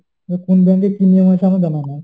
এবার কোন bank এ কি নিয়ম আছে আমার জানা নেই।